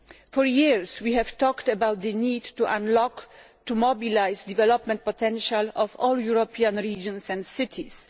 For years, we have talked about the need to unlock, to mobilise, the development potential of all European regions and cities.